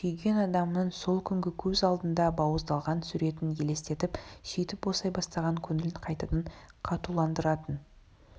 сүйген адамының сол күнгі көз алдында бауыздалған суретін елестетіп сөйтіп босай бастаған көңілін қайтадан қатуландыратын